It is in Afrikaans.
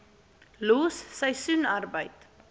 los seisoensarbeid